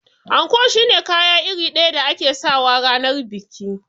Anko shine kaya iri ɗaya da ake sawa ranar biki